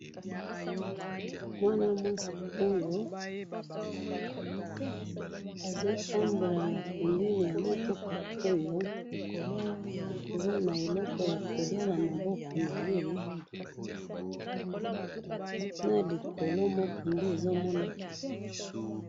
mwana mwasi oyo azo tambola na pembeni ya mutuka oyo aza na eloko ya koliya na maboko naye, na likolo moko nde ezo monana